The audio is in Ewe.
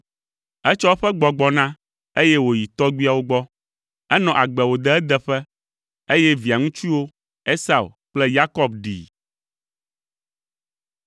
Etsɔ eƒe gbɔgbɔ na, eye wòyi tɔgbuiawo gbɔ. Enɔ agbe wòde edeƒe, eye via ŋutsuwo, Esau kple Yakob ɖii.